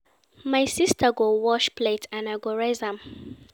My sister go wash plate and I go rinse am.